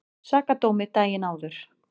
Sakadómi daginn áður.